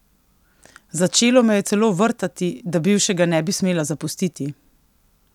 Začelo me je celo vrtati, da bivšega ne bi smela zapustiti!